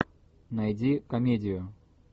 найди комедию